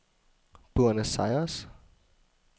Buenos Aires